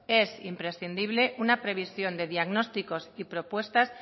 es imprescindible una previsión de diagnósticos y propuestas